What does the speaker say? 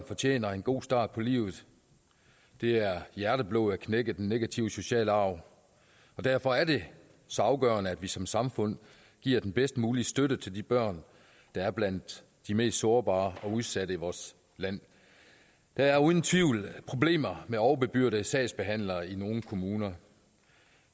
fortjener en god start på livet det er hjerteblod at knække den negative sociale arv og derfor er det så afgørende at vi som samfund giver den bedst mulige støtte til de børn der er blandt de mest sårbare og udsatte i vores land der er uden tvivl problemer med overbebyrdede sagsbehandlere i nogle kommuner